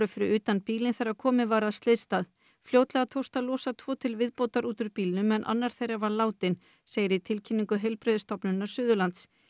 fyrir utan bílinn þegar komið var að slysstað fljótlega tókst að losa tvo til viðbótar út úr bílnum en annar þeirra var látinn segir í tilkynningu Heilbrigðisstofnunar Suðurlands